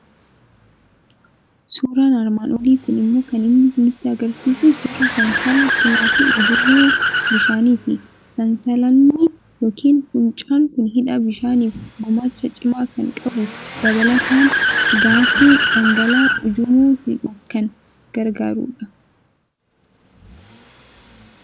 Suuraan armaan olii kun immoo kan inni nutti argisiisu suuraa sansala cimaa fi ujummoo bishaaniiti. Sansalannii yookiin fuuncaan kun hidha bishaaniif gumaacha cimaa kan qabu, dabalataan gaasii dhangala'aa ujummoo hidhuuf kan gargaarudha.